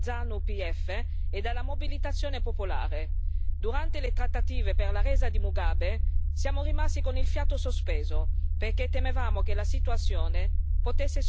Durante le trattative per la resa di Mugabe, siamo rimasti con il fiato sospeso perché temevamo che la situazione potesse sfuggire di mano, sfociando appunto nella violenza.